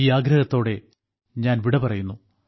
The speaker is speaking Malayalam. ഈ ആഗ്രഹത്തോടെ ഞാൻ വിട പറയുന്നു